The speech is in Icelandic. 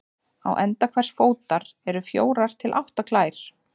Á enda hvers fótar eru fjórar til átta klær.